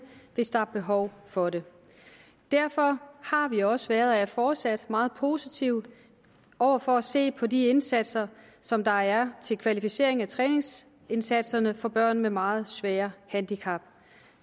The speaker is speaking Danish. hvis der er behov for det derfor har vi også været og er fortsat meget positive over for at se på de indsatser som der er til kvalificering af træningsindsatserne for børn med meget svære handicap